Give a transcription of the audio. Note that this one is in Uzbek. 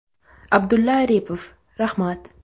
Abdulla Aripov: Rahmat.